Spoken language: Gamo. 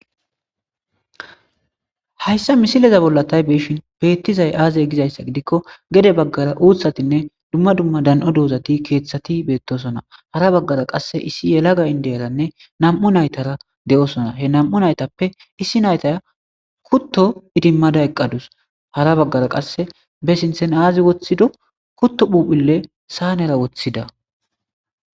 hayssa misileza bolla ta beyishin beettizay aaze gizayssa gidikko gede baggara uuthatinne dumma dumma dan7o doozati keeththati beettosona hara baggara qasse issi yelaga indeyaranne nam7u naytara de7osona he nam7u naytappe issi naytaya kutto idimmada eqqadus hara baggara qasse be sinthen aazi woththido kutto phuphille saanera woththida